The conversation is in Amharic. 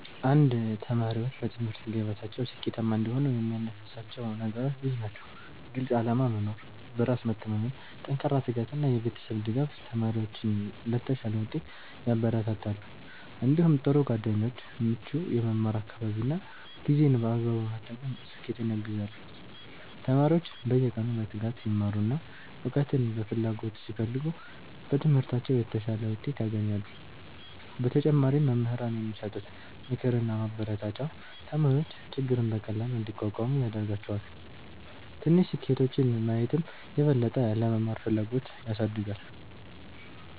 1ተማሪዎች በትምህርት ገበታቸው ስኬታማ እንዲሆኑ የሚያነሳሳቸው ነገሮች ብዙ ናቸው። ግልፅ ዓላማ መኖር፣ በራስ መተማመን፣ ጠንካራ ትጋት እና የቤተሰብ ድጋፍ ተማሪዎችን ለተሻለ ውጤት ያበረታታሉ። እንዲሁም ጥሩ ጓደኞች፣ ምቹ የመማር አካባቢ እና ጊዜን በአግባቡ መጠቀም ስኬትን ያግዛሉ። ተማሪዎች በየቀኑ በትጋት ሲማሩ እና እውቀትን በፍላጎት ሲፈልጉ በትምህርታቸው የተሻለ ውጤት ያገኛሉ። በተጨማሪም መምህራን የሚሰጡት ምክርና ማበረታቻ ተማሪዎች ችግርን በቀላሉ እንዲቋቋሙ ያደርጋቸዋል። ትንሽ ስኬቶችን ማየትም የበለጠ ለመማር ፍላጎት ያሳድጋል።